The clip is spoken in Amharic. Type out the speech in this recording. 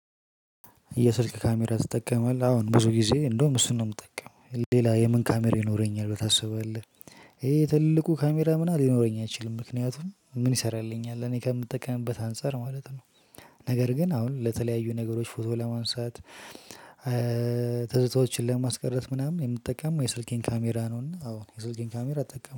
የስልክ ካሜራ ትጠቀማለህ አሁን ብዙ ጊዜ እንደውም እሱን ነው ምጠቀመው ሌላ የምን ካሜራ ይኖረኛል ብለህ ታስባለህ ይሄ ትልቁ ካሜራ ምናምን ሊኖረኝ አይችልም ምክንያቱም ምን ይሰራልኛል እኔ ከምጠቀምበት አንፃር ማለት ነው። ነገር ግን አሁን ለተለያዩ ነገሮች ፎቶ ለማንሳት። ትዝታዎችን ለማስቀረት ምናምን የምጠቀመው የስልኬን ካሜራ ነው እና አወ የስልኬን ካሜራ እጠቀም